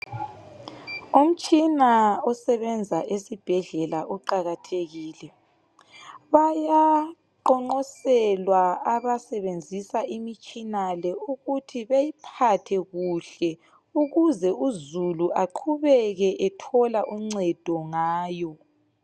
Umtshina osebenza esibhedlela uqakathekile. Bayaqonqoselwa abasebenzisa imitshina le ukuthi beyiphathe kuhle ukuze uzulu aqhubeke ethola uncedo ngayo.